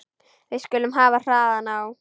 Við skulum hafa hraðann á.